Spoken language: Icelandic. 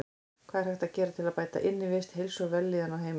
Hvað er hægt að gera til að bæta innivist, heilsu og vellíðan á heimilum?